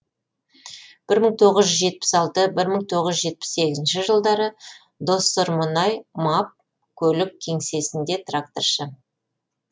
бір мың тоғыз жүз жетпіс алты бір мың тоғыз жүз жетпіс сегізінші жылдары доссормұнай маб көлік кеңсесінде тракторшы